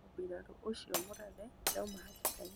Mũbirarũ ũcio mũrathe ndauma hatĩka-inĩ